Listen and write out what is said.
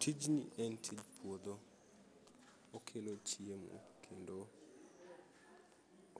Tijni en tij puodho okelo chiemo kendo